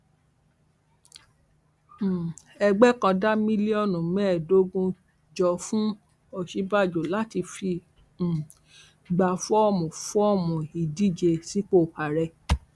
um ẹgbẹ kan da mílíọnù mẹẹẹdógún jọ fún òsínbàjò láti fi um gba fọọmù fọọmù ìdíje sípò ààrẹ